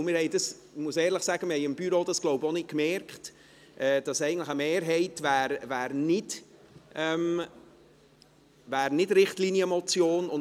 Ich muss ehrlich sagen, dass wir im Büro wohl auch nicht gemerkt haben, dass eigentlich eine Mehrheit keine Richtlinienmotion wäre.